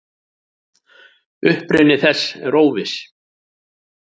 Uppruni þess er óviss.